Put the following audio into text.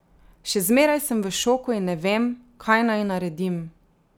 Še zmeraj sem v šoku in ne vem, kaj naj naredim.